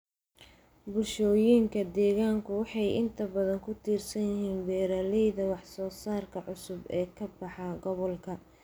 Bulshooyinka deegaanku waxay inta badan ku tiirsan yihiin beeralayda wax soo saarka cusub ee ka baxa gobolka.